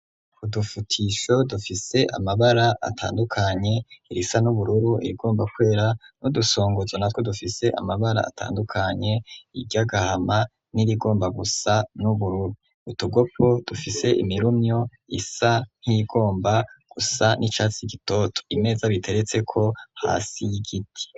Udufutisho dufise amabara atandukanye: irisa n'ubururu irigomba kwera n'udusongozo natwo dufise amabara atandukanye: iry'agahama n'irigomba gusa n'ubururu. Utugopo dufise imirumyo isa nk'iyigomba gusa n'icatsi gitoto. Imeza biteretseko hasi y'igiti.